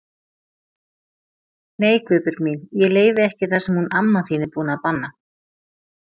Nei Guðbjörg mín, ég leyfi ekki það sem hún amma þín er búin að banna